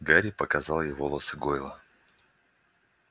гарри показал ей волосы гойла